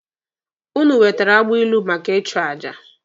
Ụnụ wetere agbilu maka ịchụ aja